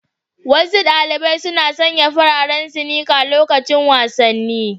Wasu ɗaliɓai suna sanƴa fararen sinika loƙacin wasanni.